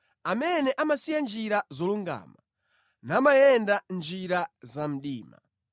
amene amasiya njira zolungama namayenda mʼnjira zamdima,